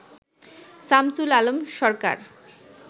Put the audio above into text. Shamsul Alam Sarkar